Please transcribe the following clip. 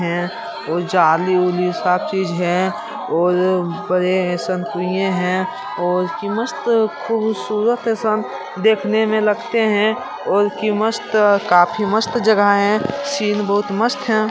हैं और जाली उली सब चीज है और बड़े ऐसन कुंए हैं और कि मस्त खूबसूरत ऐसन देखने में लगते हैं और कि मस्त काफी मस्त जगह है सीन बहुत मस्त है।